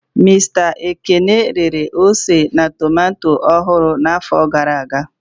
Mista Ekene rere ose na tomato ọhụrụ n'afọ gara aga.